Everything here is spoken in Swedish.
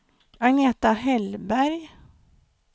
Agneta Hellberg